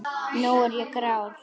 Nú er ég grár.